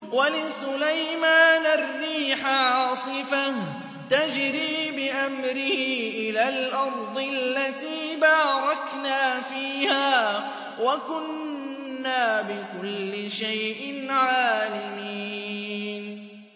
وَلِسُلَيْمَانَ الرِّيحَ عَاصِفَةً تَجْرِي بِأَمْرِهِ إِلَى الْأَرْضِ الَّتِي بَارَكْنَا فِيهَا ۚ وَكُنَّا بِكُلِّ شَيْءٍ عَالِمِينَ